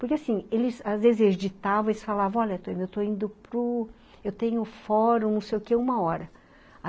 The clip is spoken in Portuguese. Porque assim, eles às vezes editavam e falavam, ''olha, eu estou indo para o... eu tenho o fórum, não sei o quê, uma hora.''